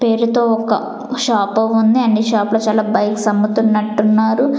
పేరుతో ఒక షాపు ఉంది అండ్ ఈ షాప్ లో బైక్స్ అమ్ముతున్నట్టున్నారు.